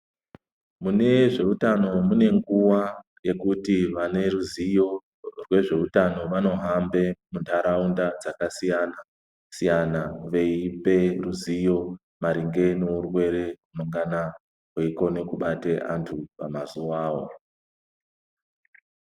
Mune zveutano mune nguwa yekuti vane ruziyo rwezveutano vanohambe muntaraunda dzakasiyana siyana veipe ruziyo maringe ngeurwere mungana weikone kubata vantu pamazuwawo.